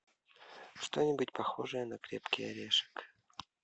что нибудь похожее на крепкий орешек